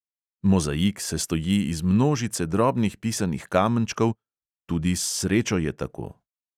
Mozaik sestoji iz množice drobnih pisanih kamenčkov, tudi s srečo je tako.